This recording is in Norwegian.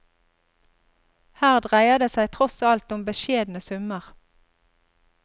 Her dreier det seg tross alt om beskjedne summer.